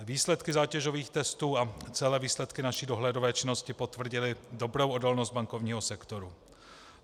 Výsledky zátěžových testů a celé výsledky naší dohledové činnosti potvrdily dobrou odolnost bankovního sektoru.